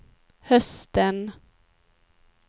hösten